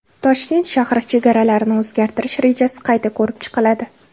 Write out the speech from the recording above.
Toshkent shahri chegaralarini o‘zgartirish rejasi qayta ko‘rib chiqiladi.